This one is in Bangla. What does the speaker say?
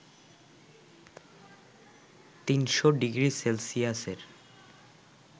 ৩০০ ডিগ্রি সেলসিয়াসের